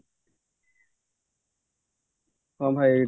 ହଁ ଭାଇ